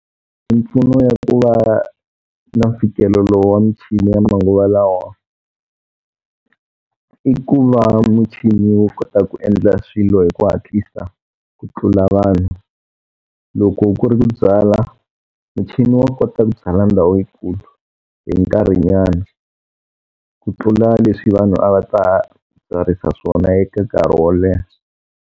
Mimpfuno ya ku va na mfikelelo wa michini ya manguva lawa i ku va muchini wu kota ku endla swilo hi ku hatlisa ku tlula vanhu. Loko ku ri ku byala, muchini wa kota ku byala ndhawu yikulu hi nkarhinyana ku tlula leswi vanhu a va ta byarisa swona eka nkarhi wo leha.